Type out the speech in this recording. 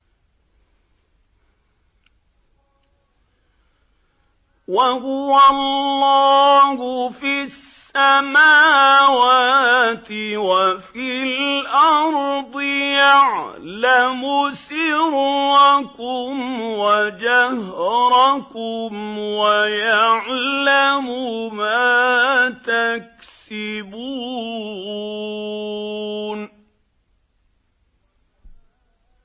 وَهُوَ اللَّهُ فِي السَّمَاوَاتِ وَفِي الْأَرْضِ ۖ يَعْلَمُ سِرَّكُمْ وَجَهْرَكُمْ وَيَعْلَمُ مَا تَكْسِبُونَ